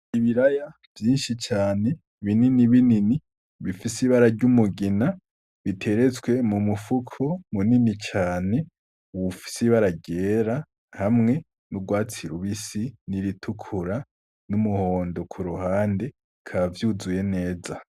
Ibiraya vyinshi cane binini binini bifise ibara ry’umugina, biteretswe mu mufuko munini cane ufise ibara ryera hamwe n’urwatsi rubisi n’iritukura n’umuhondo kuruhande, bikaba vyuzuye neza.